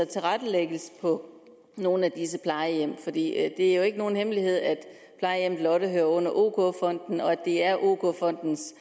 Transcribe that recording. tilrettelægges på nogle af disse plejehjem for det er jo ikke nogen hemmelighed at plejehjemmet lotte hører under ok fonden og det er ok fondens